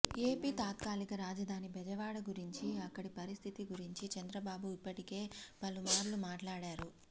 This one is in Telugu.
ఏపీ తాత్కాలిక రాజధాని బెజవాడ గురించీ అక్కడి పరిస్థితి గురించీ చంద్రబాబు ఇప్పటికే పలుమార్లు మాట్లాడారు